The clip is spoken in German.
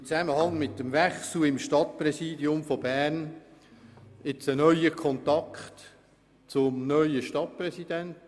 Im Zusammenhang mit dem Wechsel im Stadtpräsidium von Bern haben wir nun einen neuen Kontakt.